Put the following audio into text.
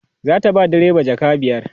zata ba direba jaka biyar